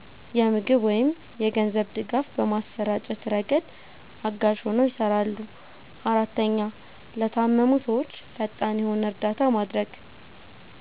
የምግብ ወይም የገንዘብ ድጋፍ በማሰራጨት ረገድ አጋዥ ሆነው ይሰራሉ። 4, ለታመሙ ሰዎች ፈጣን የሆነ እርዳታ ማድረግ